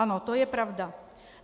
Ano, to je pravda.